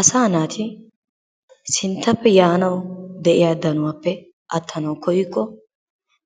Asa naati sinttappe yaanawu de'iya danuwappe attanawu koyyikko